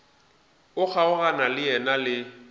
o kgaogana le yena le